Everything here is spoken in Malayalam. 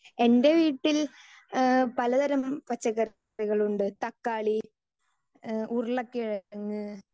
സ്പീക്കർ 2 എൻ്റെ വീട്ടിൽ ഇഹ് പലതരം പച്ചക്കറികൾ ഉണ്ട് തക്കാളി ഇഹ് ഉരുളക്കിഴങ്ങ്